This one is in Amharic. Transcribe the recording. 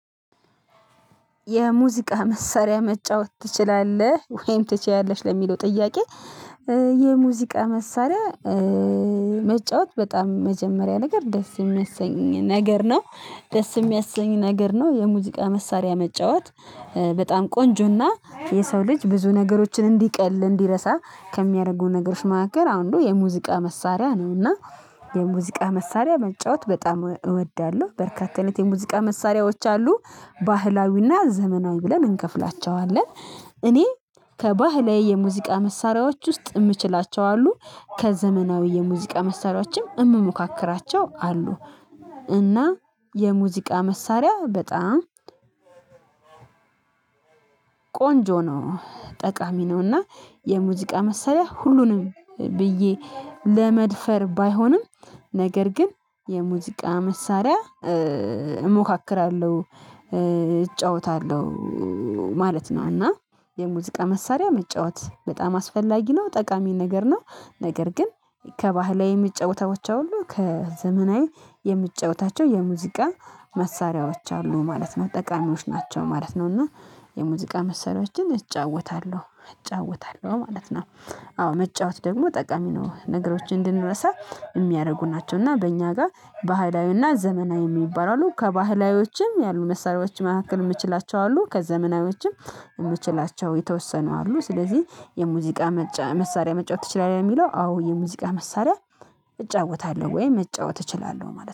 የሙዚቃ መሳሪያ መጫወት ትችላለህ ወይም ትችያለሽ ለሚለው ጥያቄ? የሙዚቃ መሳሪያ መጫወት በጣም መጀመሪያ ነገር ደስ የሚያሰኝ ነገር ነው። ደስ የሚያሰኝ ነገር ነው የሙዚቃ መሳሪያ መጫወት በጣም ቆንጆና የሰው ልጅ ብዙ ነገሮችን እንዲቀል እንዲረሳ ከሚያደርገው ነገሮች ማዕከል አንዱ የሙዚቃ መሳሪያ ነውና። የሙዚቃ መሳሪያ መጫወት በጣም እወዳለሁ። በርካታ አይነት የሙዚቃ መሳሪያዎች አሉ ባህላዊና ዘመናዊ ብለን እንከፍላቸዋለን። እኔ ከባህላዊ የሙዚቃ መሳሪያዎች ውስጥ የምችላቸው አሉ ከዘመናዊ የሙዚቃ መሳሪያዎችም የምሞካክራቸው አሉ። እና የሙዚቃ መሳሪያ በጣም ቆንጆ ነው ጠቃሚ ነውና። የሙዚቃ መሳሪያ ሁሉንም ብዬ ለመድፈር ባይሆንም ነገር ግን የሙዚቃ መሳሪያ እሞካክራለሁ እጫወታለሁ ማለት ነው። እና የሙዚቃ መሳሪያ መጫወት በጣም አስፈላጊ ነው ጠቃሚ ነገር ነው። ነገር ግን ከባህላዊ የሚጫወታዎቻቸው ሁሉ ከዘመናዊ የሚጫወታቸው የሙዚቃ መሳሪያዎች አሉ ማለት ነው ጠቃሚዎች ናቸው ማለት ነው እና የሙዚቃ መሳሪያዎችን እጫወታለሁ እጫወታለሁ ማለት ነው። አዎ መጫወት ደግሞ ጠቃሚ ነው ነገሮችን እንድንረሳ የሚያደርጉ ናቸው እና በእኛ ጋር ባህላዊና ዘመናዊ የሚባሉ አሉ ከባህላዊዎችም ያሉ መሳሪያዎች መካከል የምችላቸው አሉ ከዘመናዊዎችም የምችላቸው የተወሰኑ አሉ ስለዚህ የሙዚቃ መሳሪያ መጫወት ትችላለህ? ለሚለው አዎ የሙዚቃ መሳሪያ እጫወታለሁ ወይ መጫወት እችላለሁ ማለት ነው